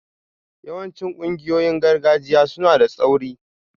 Yawancin ƙungiyoyin gargajiya suna da tsauri